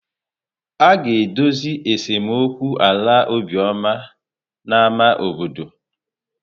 A ga-edozi esemokwu ala Obioma na ámá obodo.